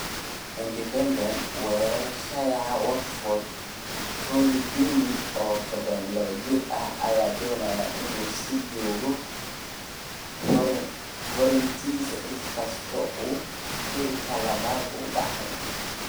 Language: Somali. (Independent) Weeraryahanka Watford Troy Deeney, oo 32 jir ah, ayaa doonaya inuu sii joogo Hornets, inkastoo uu heerka labaad u dhacay.